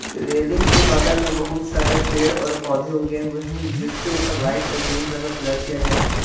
Railing के बगल में बहुत सारे पेड़ और पौधे उगे हुए हैं। जिसके ऊपर व्हाइट और ग्रीन कलर का कलर किया गया है।